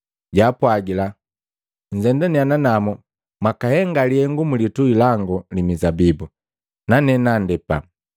Jwaapwagila, ‘Nzendania nanamu mwakahenga lihengu mulitui langu li mizabibu, nane nandepa.’